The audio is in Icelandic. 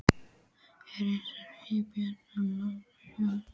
Ragnarsson, Lýður Björnsson og Lárus Jónsson.